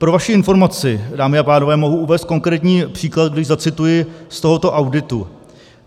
Pro vaši informaci, dámy a pánové, mohu uvést konkrétní příklad, když zacituji z tohoto auditu.